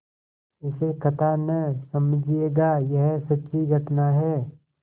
इसे कथा न समझिएगा यह सच्ची घटना है